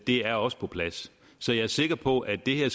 er også på plads så jeg er sikker på at det her